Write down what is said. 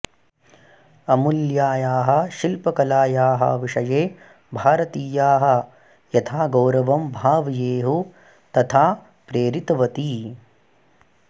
अमूल्यायाः शिल्पकलायाः विषये भारतीयाः यथा गौरवं भावयेयुः तथा प्रेरितवती